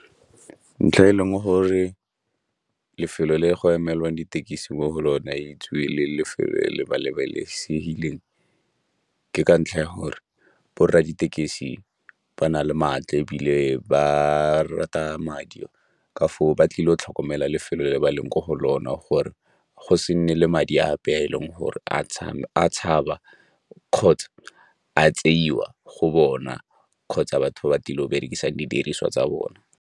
Ntlha e leng gore lefelo le go emelwang ditekisi mo go lone e itsiwe le lefelo le le ke ka ntlha ya gore borra ditekesi ba na le maatla ebile ba rata madi, ka foo ba tlile go tlhokomela lefelo le le ba leng mo go lona gore go se nne le madi a ape a e leng gore a tshaba kgotsa a tseiwa go bona kgotsa batho ba tlile go berekisang didiriswa tsa bona.